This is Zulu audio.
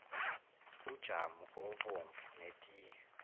ujamu obomvu netiye